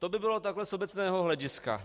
To by bylo takhle z obecného hlediska.